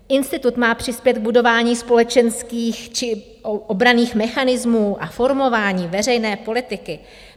Institut má přispět k budování společenských či obranných mechanismů a formování veřejné politiky.